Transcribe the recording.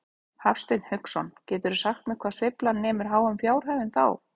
Hafsteinn Hauksson: Geturðu sagt mér hvað sveiflan nemur háum fjárhæðum þá?